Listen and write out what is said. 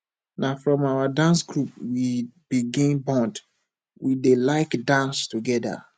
na from our dance group we begin bond we dey like dance togeda